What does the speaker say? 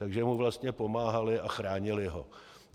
Takže mu vlastně pomáhali a chránili ho.